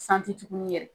tugunni yɛrɛ